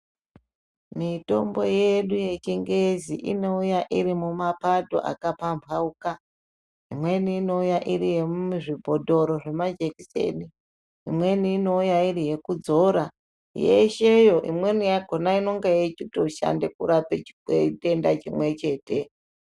Mitombo yedu yechingezi inouya iri mumapato akapambauka. Imweni inouya iri yemuzvibhodhoro zvemajekiseni, imweni inouya iri yekudzora yesheyo. Imweni yakona inenge yechitoshande kurape chitenda chimwe chete.